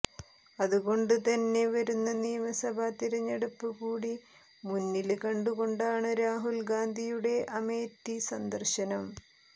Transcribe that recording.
അതുകൊണ്ട് തന്നെ വരുന്ന നിയമഭാ തെരഞ്ഞെടുപ്പ് കൂടി മുന്നില് കണ്ടുകൊണ്ടാണ് രാഹുല് ഗാന്ധിയുടെ അമേത്തി സന്ദര്ശനം